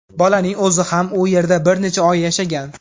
Bolaning o‘zi ham u yerda bir necha oy yashagan.